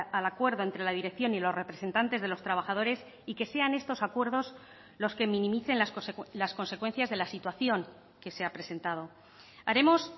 al acuerdo entre la dirección y los representantes de los trabajadores y que sean estos acuerdos los que minimicen las consecuencias de la situación que se ha presentado haremos